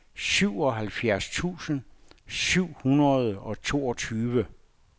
syvoghalvfjerds tusind syv hundrede og toogtyve